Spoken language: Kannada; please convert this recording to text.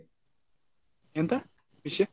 ಎಂತ ವಿಷಯ?